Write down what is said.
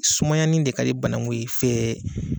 Sumayanin de ka banakun ye fɛ